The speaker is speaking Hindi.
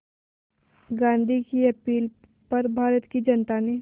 गांधी की अपील पर भारत की जनता ने